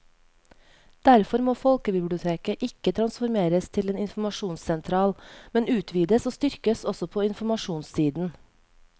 Derfor må folkebiblioteket ikke transformeres til en informasjonssentral, men utvides og styrkes også på informasjonssiden.